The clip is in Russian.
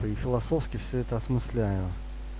и философски все это осмысляю